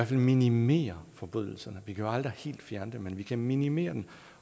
fald minimere forbrydelserne vi kan jo aldrig helt fjerne dem men vi kan minimere dem